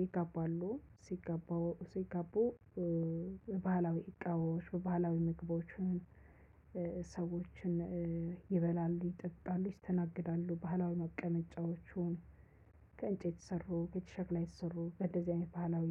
ይጋባሉ ሲጋባ ሲጋቡ። በባህላዊ እቃዎች በባህላዊ ምግቦችን ሰዎችን ይበላሉ ይጠጣሉ ይስተናግዳሉ ባህላዊ መቀመጫዎቹን ከእጅ የተሰሩ በእንደዚህ ያሉ። ባህላዊ